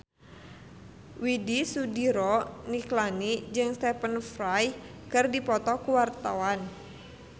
Widy Soediro Nichlany jeung Stephen Fry keur dipoto ku wartawan